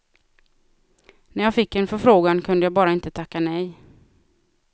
När jag fick en förfrågan kunde jag bara inte tacka nej.